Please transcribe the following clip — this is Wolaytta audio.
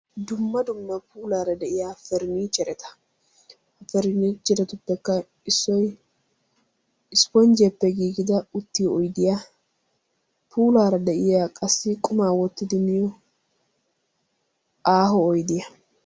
dumma dumma puulara de'iyaa faranichchereta; faranachcheretuppekka issoy ispponjjiyaappe giigida uttiyo oyddiya; puulaara de'iyaa qassi quma wottidi miyo aaho oydiyaa.